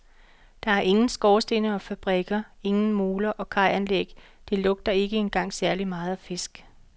Der er ingen skorstene og fabrikker, ingen moler og kajanlæg, det lugter ikke engang særlig meget af fisk.